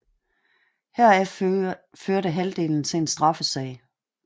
Heraf førte halvdelen til en straffesag